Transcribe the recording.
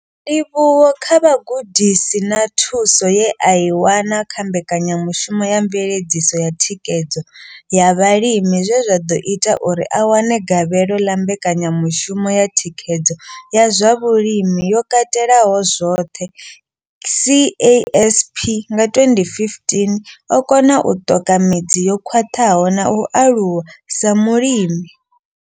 Ndivhuwo kha vhugudisi na thuso ye a i wana kha mbekanyamushumo ya mveledziso ya thikhedzo ya vhalimi zwe zwa ḓo ita uri a wane gavhelo ḽa mbekanyamushumo ya thikhedzo ya zwa vhulimi yo katelaho zwoṱhe CASP nga 2015, o kona u ṱoka midzi yo khwaṱhaho na u aluwa sa mulimi.